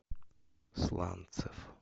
сланцев